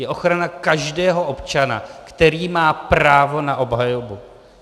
Je ochrana každého občana, který má právo na obhajobu.